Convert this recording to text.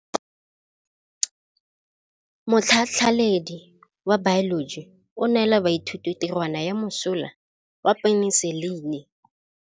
Motlhatlhaledi wa baeloji o neela baithuti tirwana ya mosola wa peniselene.